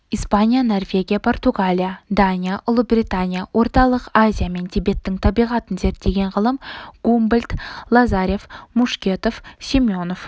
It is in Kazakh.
испания норвегия португалия дания ұлыбритания орталық азия мен тибеттің табиғатын зерттеген ғалым гумбольдт лазарев мушкетов семенов